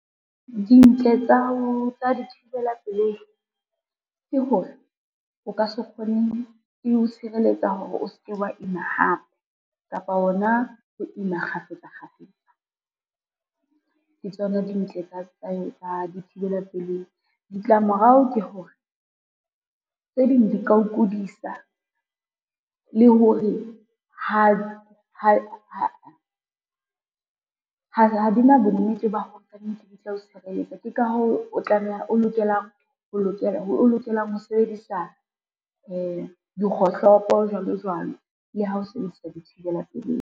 Dintle tsa thibela pelei, ke hore eo tshireletsa hore o se ke wa ima hape, kapa ona ho ima kgafetsa kgafetsa ke tsona dintle tsa dithibela pelehi. Ditlamorao ke hore, tse ding di ka o kudisa le hore ha di na bonnete ba ho re kannete di tla o sireletsa. Ke ka hoo o lokelang ho sebedisa dikgohlopo jwalo jwalo le ha o sebedisa dithibela pelehi.